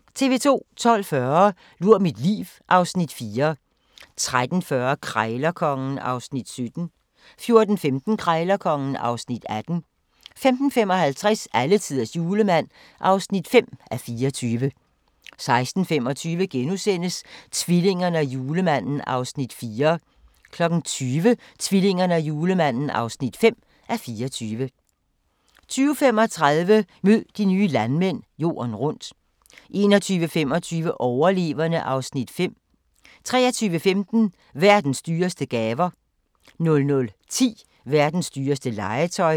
12:40: Lur mit liv (Afs. 4) 13:40: Krejlerkongen (Afs. 17) 14:15: Krejlerkongen (Afs. 18) 15:55: Alletiders Julemand (5:24) 16:25: Tvillingerne og Julemanden (4:24)* 20:00: Tvillingerne og Julemanden (5:24) 20:35: Mød de nye landmænd - Jorden rundt 21:25: Overleverne (Afs. 3) 23:15: Verdens dyreste gaver 00:10: Verdens dyreste legetøj